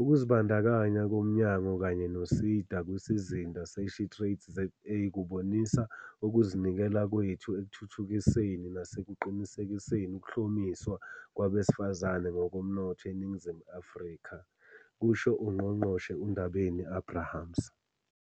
"Ukuzibandakanya komnyango kanye no-SEDA kwiSizinda se-SheTradesZA kubonisa ukuzinikela kwethu ekuthuthukiseni nasekuqinisekiseni ukuhlomiswa kwabesifazane ngokomnotho eNingizimu Afrika," kusho uNgqongqoshe uNdabeni-Abrahams.